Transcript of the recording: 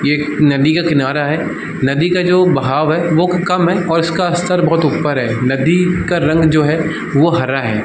ये एक नदी का किनारा है नदी का जो बहाव है वो की कम है और इसका स्तर बहुत ऊपर है नदी का रंग जो है वो हरा है ।